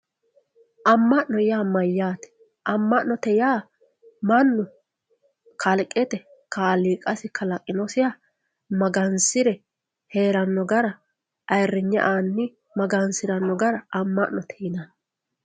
amma'no yaa mayyaate amma'note yaa mannu kalqete kaaliiqasi kalaqinosiha magansire heeranno gara ayiirrinye anni magansiranno gara amma'note yinanni.